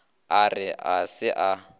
a re ga se a